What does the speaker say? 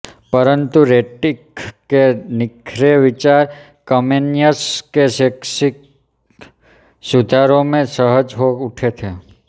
परंतु रैटिख के निखरे विचार कमेनियस के शैक्षिक सुधारों में सजग हो उठे थे